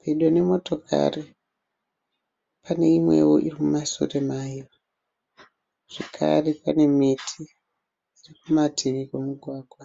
Pedo nemotokari pane imwewo iri mumushure mayo zvakare pane miti iri kumativi kwemugwagwa.